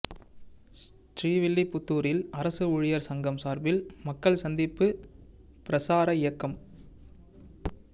ஸ்ரீவில்லிபுத்தூரில் அரசு ஊழியா் சங்கம் சாா்பில் மக்கள் சந்திப்பு பிரசார இயக்கம்